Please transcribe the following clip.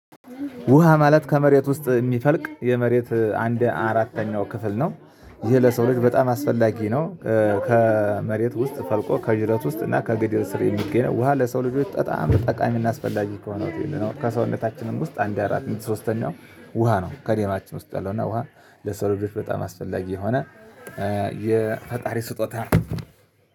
ውሃ ማለት ከመሬት ውስጥ የሚፈልቅ የመሬት አንድ አራተኛው ክፍል ነው። ይሄ ለሰው ልጅ በጣም አስፈላጊ ነው። ከመሬት ውስጥ ፈልቆ ከዥረት ውስጥ እና ከገደል ስር የሚገኘው ውሃ ለሰው ልጆች በጣም ጠቃሚ እናስፈላጊ ከሆነው ትይዩል ነው ከሰውነታችንም ውስጥ አንድ አራት ሶስት ነው። ውሃ ነው ከደማችን ውስጥ ያለው እና ውሃ ለሰው ልጆች በጣም አስፈላጊ የሆነ። የፈጣሪ ስጦታ